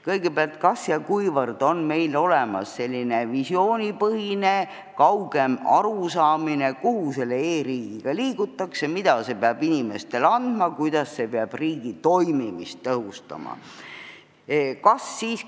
Kõigepealt, kas ja kuivõrd on meil olemas selline visioonipõhine kaugem arusaamine, kuhu selle e-riigiga liigutakse, mida see peab inimestele andma, kuidas see peab riigi toimimist tõhustama?